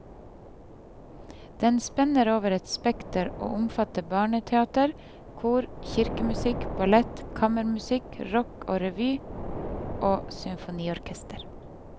Den spenner over et bredt spekter og omfatter barneteater, kor, kirkemusikk, ballett, kammermusikk, rock, revy og symfoniorkester.